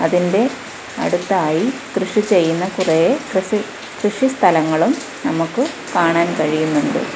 ത്തിൻ്റെ അടുത്തായി കൃഷി ചെയ്യുന്ന കുറേ ക്രിസി കൃഷി സ്ഥലങ്ങളും നമക്ക് കാണാൻ കഴിയുന്നുണ്ട്.